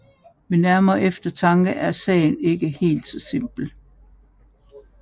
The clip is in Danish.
Ved nærmere eftertanke er sagen ikke helt så simpel